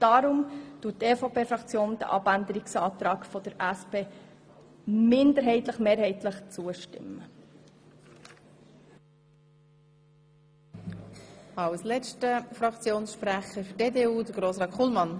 Deshalb stimmt die EVP-Fraktion dem Abänderungsantrag der SP-JUSO-PSA-Fraktion teilweise zu.